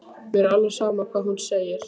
Mér er alveg sama hvað hún segir.